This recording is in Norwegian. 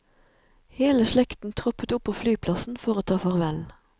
Hele slekten troppet opp på flyplassen for å ta farvel.